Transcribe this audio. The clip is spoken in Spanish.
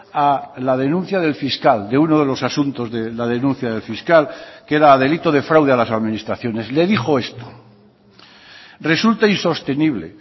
a la denuncia del fiscal de uno de los asuntos de la denuncia del fiscal que era delito de fraude a las administraciones le dijo esto resulta insostenible